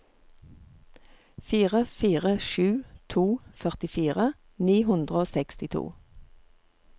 fire fire sju to førtifire ni hundre og sekstito